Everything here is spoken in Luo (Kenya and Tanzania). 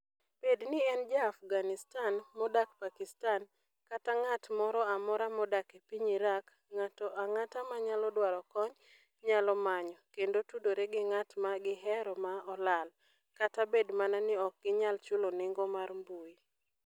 Bed ni en Ja - Afghanistan modak Pakistan kata ng'at moro amora modak e piny Iraq, ng'ato ang'ata manyalo dwaro kony nyalo manyo, kendo tudore gi ng'at ma gihero ma olal - kata bed mana ni ok ginyal chulo nengo mar mbui.